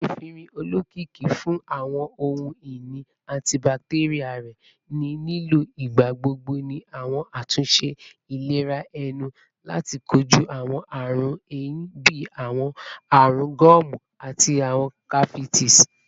Efinrin, olokiki fun awọn ohun-ini antibacterial rẹ, ni lilo nigbagbogbo ni awọn atunṣe ilera ẹnu lati koju awọn ọran ehín bii awọn arun gomu ati awọn cavities